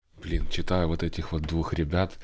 блин читаю вот этих вот двух ребят